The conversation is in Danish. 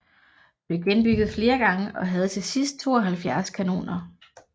Blev genbygget flere gange og havde til sidst 72 kanoner